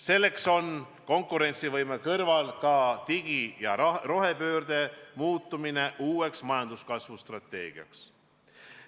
Selleks on konkurentsivõime kõrval ka digi- ja rohepöörde muutmine uueks majanduskasvu strateegiaks.